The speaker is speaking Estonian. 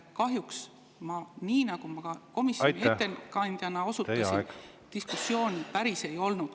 Kahjuks, nagu ma komisjoni ettekandjana osundasin, diskussiooni komisjonis päris ei olnud.